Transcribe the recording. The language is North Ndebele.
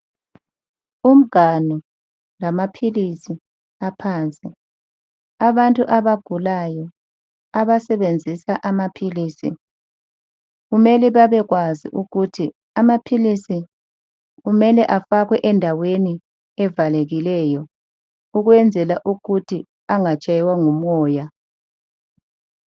Umnganu lamaphilizi aphansi abantu abagulayo abasebenzisa amaphilisi kumele bebekwazi ukuthi amaphilisi kumele afakwe endaweni evalekileyo ukwenzela ukuthi angatshaywa ngumoya.